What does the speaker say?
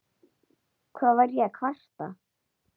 Hvað var ég að kvarta?